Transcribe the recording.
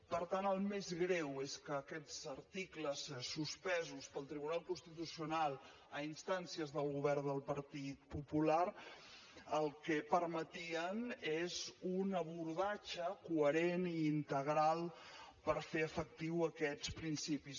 per tant el més greu és que aquests articles suspesos pel tribunal constitucional a instàncies del govern del partit popular el que permetien és un abordatge coherent i integral per fer efectius aquests principis